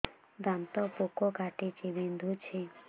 ଦାନ୍ତ ପୋକ କାଟିକି ବିନ୍ଧୁଛି